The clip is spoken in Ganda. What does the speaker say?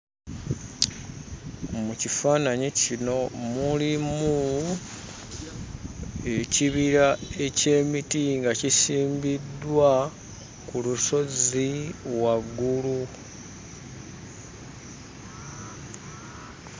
Mu kifaananyi kino mulimu ekibira eky'emiti nga kisimbiddwa ku lusozi waggulu.